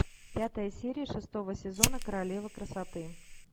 пятая серия шестого сезона королева красоты